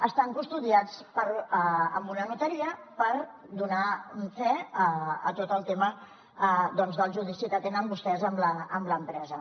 estan custodiats en una notaria per donar fe a tot el tema del judici que tenen vostès amb l’empresa